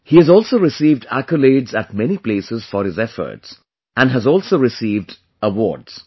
He has also received accolades at many places for his efforts, and has also received awards